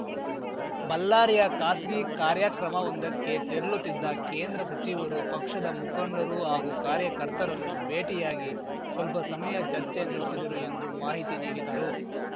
ಬಲ್ಲಾರಿಯ ಖಾಸಗಿ ಕಾರ್ಯಕ್ರಮವೊಂದಕ್ಕೆ ತೆರಲುತ್ತಿದ್ದ ಕೇಂದ್ರ ಸಚಿವರು ಪಕ್ಷದ ಮುಖಂಡರು ಹಾಗೂ ಕಾರ್ಯಕರ್ತರನ್ನು ಭೇಟಿಯಾಗಿ ಸ್ವಲ್ಪ ಸಮಯ ಚರ್ಚೆ ನಡೆಸಿದರು ಎಂದು ಮಾಹಿತಿ ನೀಡಿದರು